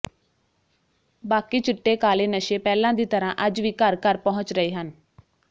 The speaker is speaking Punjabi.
ਬਾਕੀ ਚਿੱਟੇ ਕਾਲੇ ਨਸ਼ੇ ਪਹਿਲਾਂ ਦੀ ਤਰਾਂ ਅੱਜ ਵੀ ਘਰ ਘਰ ਪਹੁੰਚ ਰਹੇ ਹਨ